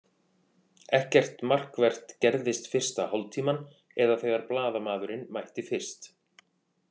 Ekkert markvert gerðist fyrsta hálftímann eða þegar blaðamaðurinn mætti fyrst.